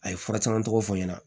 A ye fura caman tɔgɔ fɔ n ɲɛna